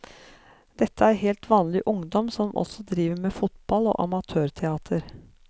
Dette er helt vanlig ungdom som også driver med fotball og amatørteater.